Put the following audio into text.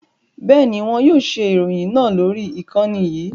Bẹ́ẹ̀ni, wọn yóò ṣe ìròyìn náà lórí ìkànnì yìí